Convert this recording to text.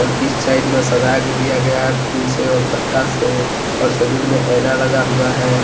इस साइड में सजा के दिया गया है फूल से और पत्ता से और सैलून में ऐना लगा हुआ है।